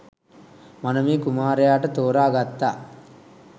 මනමේ කුමාරයාට තෝරා ගත්තා